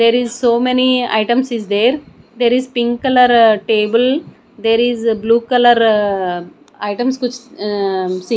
there is so many items is there there is pink colour table there is blue colour items ah see--